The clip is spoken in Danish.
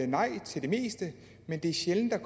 nej til det meste men det er sjældent at